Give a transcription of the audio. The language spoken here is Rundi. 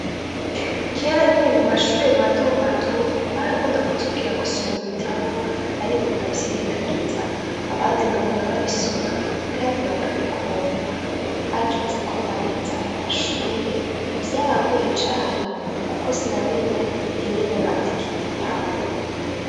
Kera nkiri mumashure matomato barakunda kutubwira gusoma ibitabo ariko nkavyirengagiza abandi nkabona babisoma kandi bakabikunda hageze ko ndangiza amashure vyarangoye cane kuko sinamenya ingene bandika igitabo.